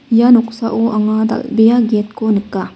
ia noksao anga dal·bea get ko nika.